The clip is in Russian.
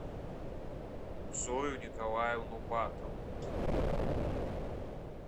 зою николаевну батову